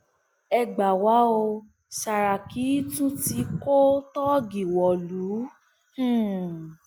ẹ gbà wá o sàràkí tún tí kò tóógì wọlú um